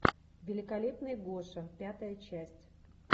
великолепный гоша пятая часть